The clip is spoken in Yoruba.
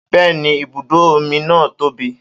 Bẹ́ẹ́ni ibùdó omi náà tóbi